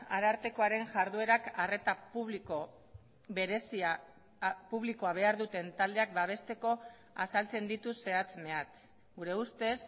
arartekoaren jarduerak arreta publiko berezia publikoa behar duten taldeak babesteko azaltzen ditu zehatz mehatz gure ustez